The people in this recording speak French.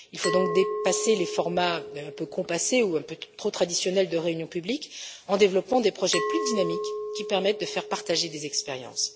Il faut donc dépasser les formats un peu compassés ou un peu trop traditionnels de réunions publiques en développant des projets plus dynamiques, qui permettent de faire partager des expériences.